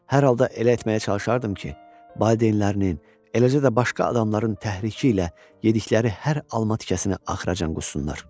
Hər halda elə etməyə çalışardım ki, valideynlərinin, eləcə də başqa adamların təhriki ilə yedikleri hər alma tikəsini axıracan qussunlar.